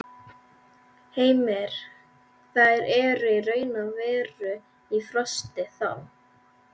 Heimir: Þær eru raun og veru í frosti, þá?